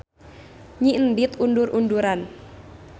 Nyi Endit undur-unduran.